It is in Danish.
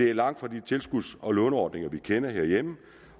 er langt fra de tilskuds og låneordninger vi kender herhjemme